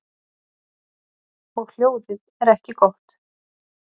Og hljóðið er ekki gott.